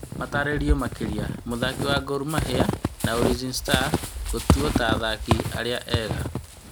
Matarĩrio makĩria mũthaki wa Gormahia na Ulinzi stars kũgetũo ta athaki arĩa ega